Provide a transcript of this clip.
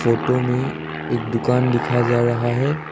Photo में एक दुकान दिखा जा रहा है।